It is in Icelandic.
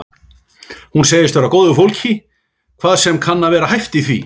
Hún segist vera af góðu fólki hvað sem kann að vera hæft í því.